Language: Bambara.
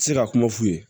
Se ka kuma f'u ye